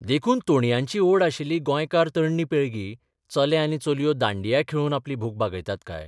देखून तोणयांची ओढ आशिल्ली गोंयकार तरणी पिळगी चले आनी चलयो दांडिया खेळून आपली भूक भागयतात काय?